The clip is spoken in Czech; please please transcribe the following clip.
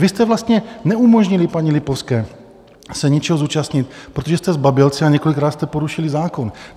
Vy jste vlastně neumožnili paní Lipovské se něčeho zúčastnit, protože jste zbabělci a několikrát jste porušili zákon.